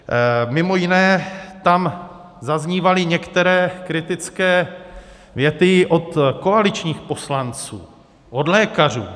Mimo jiné tam zaznívaly některé kritické věty od koaličních poslanců, od lékařů.